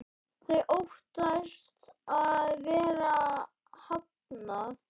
Þau óttast að vera hafnað.